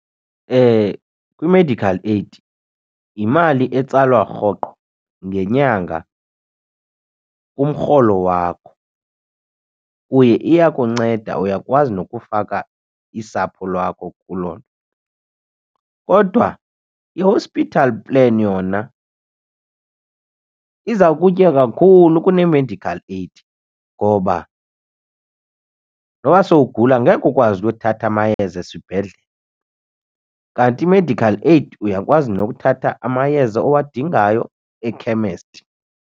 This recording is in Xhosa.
Kwi-medical aid yimali etsalwa rhoqo ngenyanga kumrholo wakho. Uye iyakunceda uyakwazi nokufaka isapho lwakho kuloo nto. Kodwa i-hospital plan yona iza kutya kakhulu kunemedical aid ngoba noba sowugula angekhe ukwazi ukuyothatha amayeza esibhedlele. Kanti i-medical aid uyakwazi nokuthatha amayeza owadingayo ekhemesti.